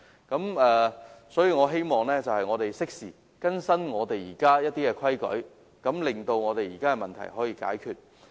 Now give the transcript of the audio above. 因此，我希望政府適時更新現有的規例，令現時的問題得以解決。